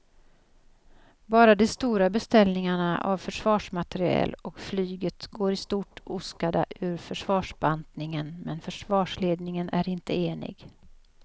Bara de stora beställningarna av försvarsmateriel och flyget går i stort oskadda ur försvarsbantningen men försvarsledningen är inte enig.